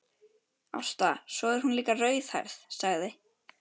Ásta, svo er hún líka rauðhærð, sagði